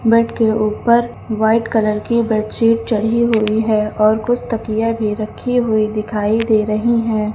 Bed के ऊपर white colour की बेडशीट चढ़ी हुई है और कुछ तकिये भी रखी हुई दिखाई दे रही हैं।